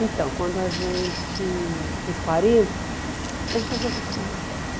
Então, quando a gente fez quarenta, a gente resolveu fazer uma festa.